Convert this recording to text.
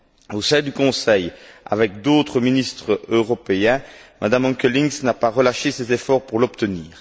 Au sein du Conseil, avec d'autres ministres européens, Mme Onkelinx n'a pas relâché ses efforts pour l'obtenir.